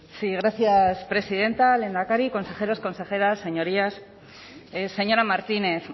sí gracias presidenta lehendakari consejeros consejeras señorías señora martínez